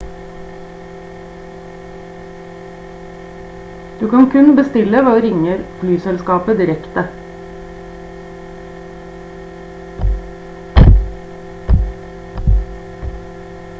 du kan kun bestille ved å ringe flyselskapet direkte